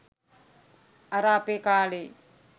අර අපේ කාලේ